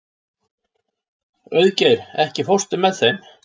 Auðgeir, ekki fórstu með þeim?